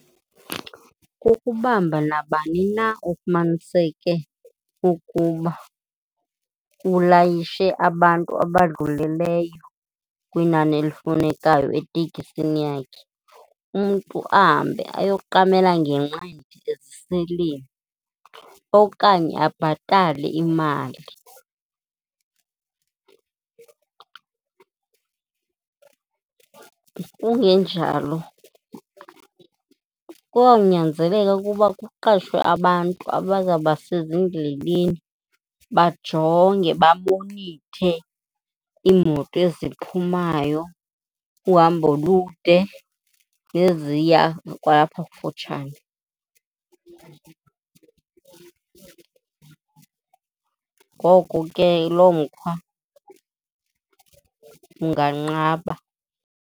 Kukubamba nabani na ofumaniseke ukuba ulayishe abantu abadlulileyo kwinani elifunekayo etekisini yakhe, umntu ahambe ayoqamela ngenqindi eziseleni okanye abhatale imali. Kungenjalo kuzawunyanzeleka ukuba kuqashwe abantu abazawuba sezindleleni bajonge, bamonithe iimoto eziphumayo uhambo olude neziya kwalapha kufutshane. Ngoko ke lo mkhwa unganqaba.